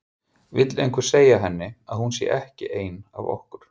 Vill einhver segja henni að hún sé ekki ein af okkur.